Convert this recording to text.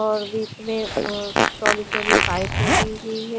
और बिच में अ चोडी चोडी पाइप लगी हुई है।